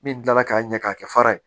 Min kilala k'a ɲɛ k'a kɛ fara ye